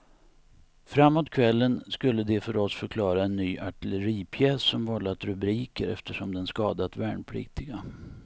Framåt kvällen skulle de för oss förklara en ny artilleripjäs som vållat rubriker eftersom den skadat värnpliktiga.